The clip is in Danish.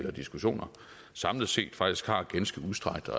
og diskussioner samlet set faktisk har ganske udstrakte